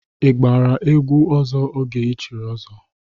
Ị gbara egwu ọzọ oge i chiri ọzọ?